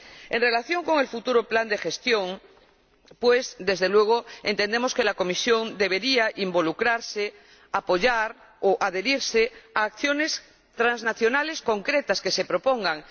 En relación con el futuro plan de gestión, desde luego entendemos que la Comisión debería involucrarse, apoyar o adherirse a las acciones transnacionales concretas que se propongan.